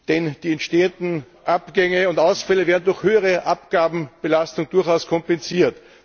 Denn die entstehenden Abgänge und Ausfälle werden durch höhere Abgabenbelastung durchaus kompensiert.